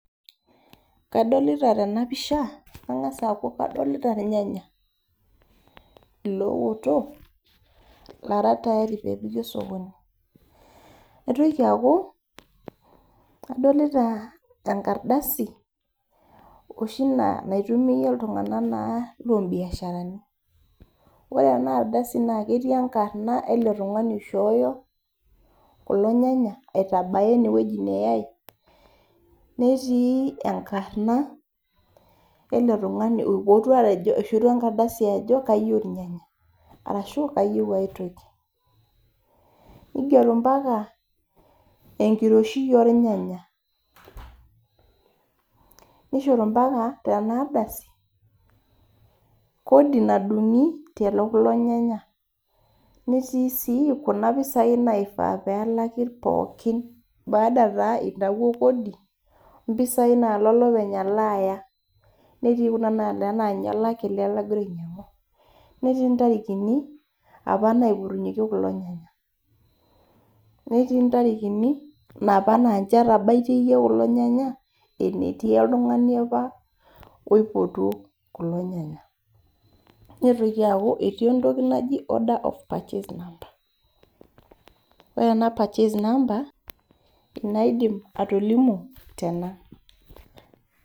Kadolita tenapisha , kengas aaku kadolita irnyanya lootok lora tayari pepiki osokoni , naitoki aaku adolita enkaradasi naitumia naa iltunganak lombiasharani ,ore enardasi naa ketii enkarna naishooyo enkarna eletungani oishooyo kulo nyanya aitabaya enewueji neyay , netii enkarna eletungani oishorua enkardasi ajo kayieu irnyanya arashu kayieu aitoki , ngero mpaka enkiroshui ornyanya , nigero mpaka kodi nadungi tekulo nyanya , netii si kuna pisai naifaa pelaki pookin baada taa intawuo kodi ompisai nalo olopeny alo aya , netii ntarikini apa naipotunyieki kulo nyanya , netii ntarikini napa naa ninche etabaitie kulo nyanya enetii oltungani apa oipotuo kulo nyanya , neitoki atii entoki naji order of purchase number